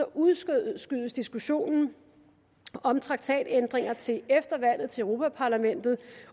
udskydes diskussionen om traktatændringer til efter valget til europa parlamentet